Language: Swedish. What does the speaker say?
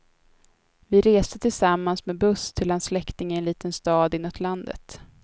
Vi reste tillsammans med buss till hans släkting i en liten stad inåt landet.